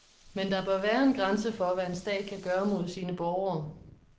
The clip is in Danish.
Men der bør være en grænse for, hvad en stat kan gøre mod sine borgere.